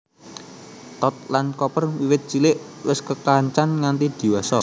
Tod lan Copper wiwit cilik wis kekancan nganti diwasa